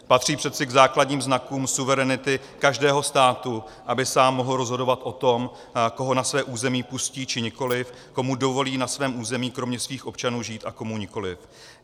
Patří přece k základním znakům suverenity každého státu, aby sám mohl rozhodovat o tom, koho na své území pustí, či nikoliv, komu dovolí na svém území kromě svých občanů žít a komu nikoliv.